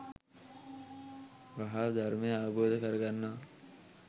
වහා ධර්මය අවබෝධ කරගන්නවා.